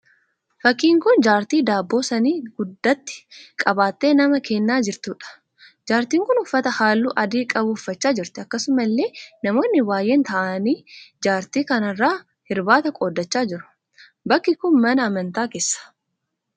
Fakkiin kun jaartii daabboo saanii guddaatti qabattee namaa kennaa jirtuudha. Jaartiin kun uffata halluu adii qabu uffachaa jirti. Akkasumallee namoonni baay'een ta'aanii jaartii kana irraa hirbaata qooddachaa jiru. Bakki kun mana amantaa keessa.